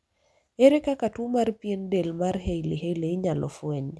ere kaka tuo mar pien del mar hailey hailey inyalo fweny?